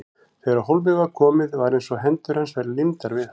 Þegar á hólminn var komið var eins og hendur hans væru límdar við hann.